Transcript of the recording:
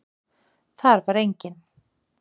Þar var enginn.